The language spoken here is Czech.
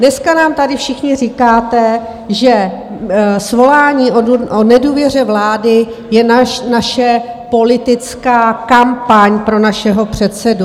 Dneska nám tady všichni říkáte, že svolání o nedůvěře vlády je naše politická kampaň pro našeho předsedu.